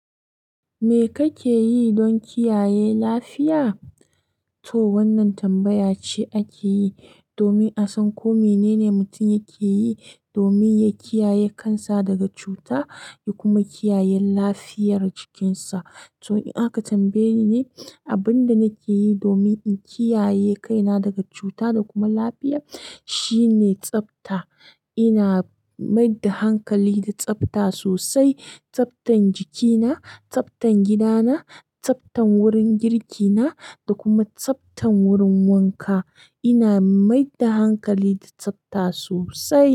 Me kake yi don kiyaye lafiya? To wannan tambaya ce ake yi domin a san ko menene mutum yake yi domin ya kiyaye kansa daga cuta ya kuma kiyaye lafiyar jikinsa. To in aka tambaye ni abin da nake yi domin in kiyaye kaina daga cuta da kuma lafiya shine tsafta. Ina mai da hankali da tsafta sosai. Tsaftan jikina, tsaftan gidana, tsaftan wurin girki na da kuma tsaftan wurin wanka. Ina mai da hankali da tsafta sosai.